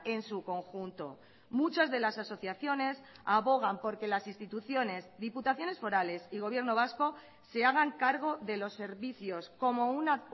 en su conjunto muchas de las asociaciones abogan porque las instituciones diputaciones forales y gobierno vasco se hagan cargo de los servicios como una